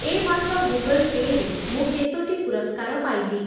ଏ ମାସ Google pay' ରେ ମୁଁ କେତୋଟି ପୁରସ୍କାର ପାଇଲି?